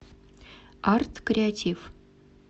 арткреатиф